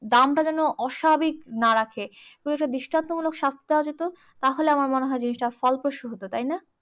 দামটা যেন অস্বাভাবিক না রাখে। ওদেরকে দৃষ্টান্তমূলক শাস্তি দেওয়া যেত তাহলে আমার মনে হয়, জিনিসটা ফলপ্রসূ হতো, তাইনা?